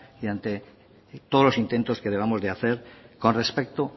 y ante todos los intentos que debamos de hacer con respecto